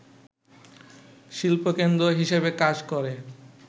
শিল্পকেন্দ্র হিসেবে কাজ করে